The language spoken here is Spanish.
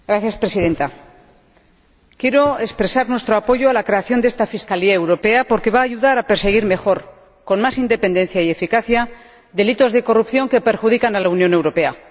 Señora Presidenta, quiero expresar nuestro apoyo a la creación de esta Fiscalía Europea porque va a ayudar a perseguir mejor, con más independencia y eficacia, delitos de corrupción que perjudican a la Unión Europea.